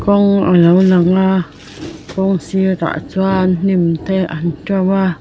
a lo lang a kawng sirah chuan hnim te an to a.